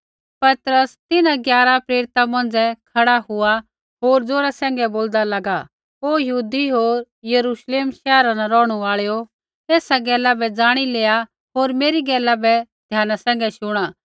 पतरस तिन्हां ग्यारा प्रेरिता मौंझ़ै खड़ा हुआ होर ज़ोरा सैंघै बोलदा लागा ओ यहूदी होर यरूश्लेम शैहरा न रौहणु आल़ैओ एसा गैला बै ज़ाणी लेआ होर मेरी गैला बै ध्याना सैंघै शुणा